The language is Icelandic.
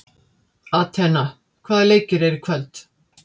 Atena, hvaða leikir eru í kvöld?